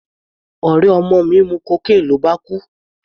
Ọ̀rẹ́ ọmọ mi mu cocaine ló bá kú.